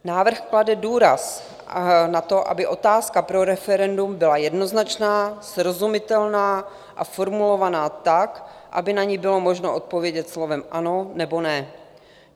Návrh klade důraz na to, aby otázka pro referendum byla jednoznačná, srozumitelná a formulovaná tak, aby na ni bylo možné odpovědět slovem ano nebo ne.